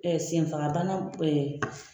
senfagabana .